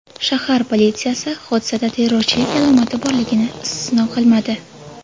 Shahar politsiyasi hodisada terrorchilik alomati borligini istisno qilmadi .